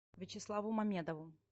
вячеславу мамедову